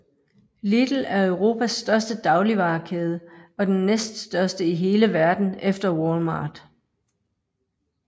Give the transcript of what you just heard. Lidl er Europas største dagligvarekæde og den næststørste i hele verden efter Walmart